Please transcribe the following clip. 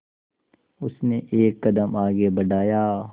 उसने एक कदम आगे बढ़ाया